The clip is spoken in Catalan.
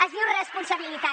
es diu responsabilitat